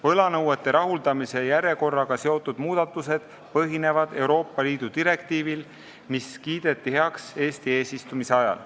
Võlanõuete rahuldamise järjekorraga seotud muudatused põhinevad Euroopa Liidu direktiivil, mis kiideti heaks Eesti eesistumise ajal.